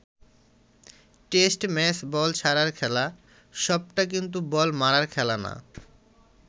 Test match ball ছাড়ার খেলা, সবটা কিন্তু বল মারার খেলা না।